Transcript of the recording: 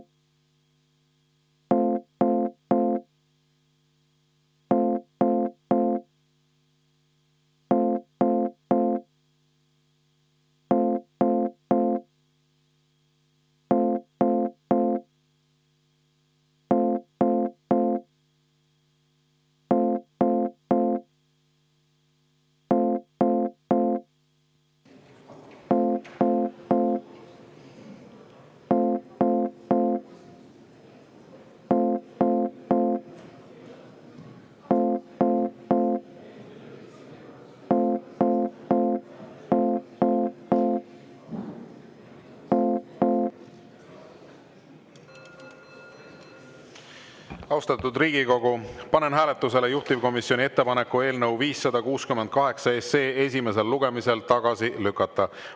Austatud Riigikogu, panen hääletusele juhtivkomisjoni ettepaneku eelnõu 568 esimesel lugemisel tagasi lükata.